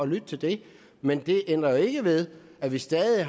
lytte til det men det ændrer jo ikke ved at vi stadig